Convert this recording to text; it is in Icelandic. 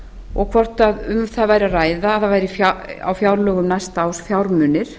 og hvort um það væri að ræða að það væri á fjárlögum næsta árs fjármunir